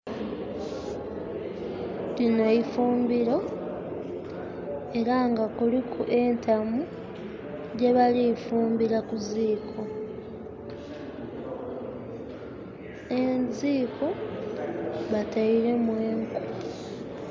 Lino ifumbiro era nga kuliku entamu gyebali kufumbira kuziko. Eziko batairemu enku.